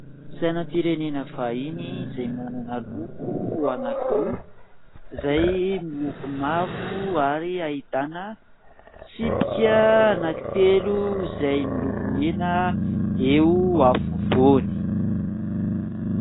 Sainam-pirenena vahiny izay manana loko anankiroa izay mavo ary ahitana tsipika anankitelo izay miloko mena eo afovoany.